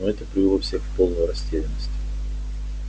но это привело всех в полную растерянность